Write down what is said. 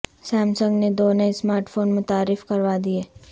سام سنگ نے دو نئے سمارٹ فون متعارف کروا دیے